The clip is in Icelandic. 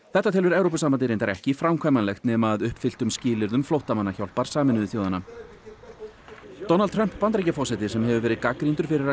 þetta telur Evrópusambandið reyndar ekki framkvæmanlegt nema að uppfylltum skilyrðum flóttamannahjálpar Sameinuðu þjóðanna Donald Trump Bandaríkjaforseti sem hefur verið gagnrýndur fyrir að